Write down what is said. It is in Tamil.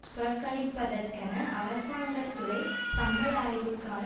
புறக்கணிப்பதற்கென அரசாங்க துறை சம்பள ஆய்வுக்கான